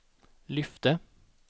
lyfte